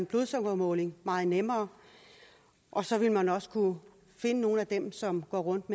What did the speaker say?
blodsukkermåling meget nemmere og så vil man også kunne finde nogle af dem som går rundt